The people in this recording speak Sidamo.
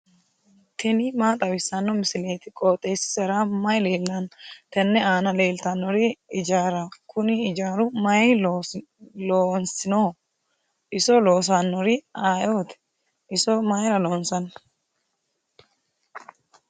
tini maa xawissanno misileeti? qooxeessisera may leellanno? tenne aana leellannori ijaaraho. kuni ijaaru mayi loosinoho? iso loossannori ayee ooti? iso mayiira loonsanni?